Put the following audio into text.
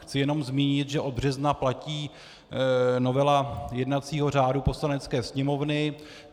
Chci jen zmínit, že od března platí novela jednacího řádu Poslanecké sněmovny.